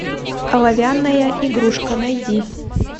оловянная игрушка найди